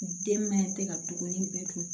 Den mɛn tɛ ka dumuni bɛɛ dun